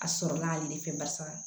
A sɔrɔla ale de fɛ barisa